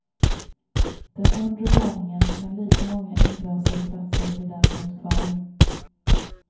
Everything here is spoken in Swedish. Den undre våningen med lika många inglasade platser blir däremot kvar.